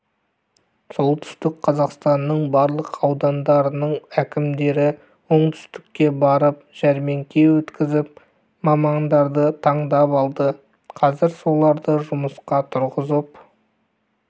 солтүстік қазақстанның барлық аудандарының әкімдері оңтүстікке барып жәрмеңке өткізіп мамандарды таңдап алды қазір соларды жұмысқа тұрғызып